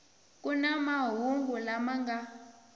ku na mahungu lama nga